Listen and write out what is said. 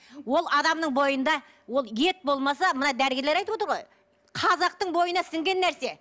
ол адамның бойында ол ет болмаса мына дәрігерлер айтып отыр ғой қазақтың бойына сіңген нәрсе